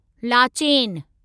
Lachen